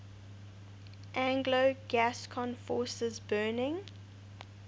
anglo gascon forces burning